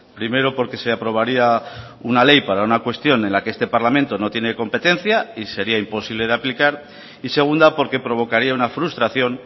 primero porque se aprobaría una ley para una cuestión en la que este parlamento no tiene competencia y sería imposible de aplicar y segunda porque provocaría una frustración